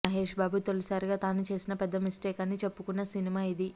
మహేష్ బాబు తొలిసారిగా తాను చేసిన పెద్ద మిస్టేక్ అని చెప్పుకున్న సినిమా ఇది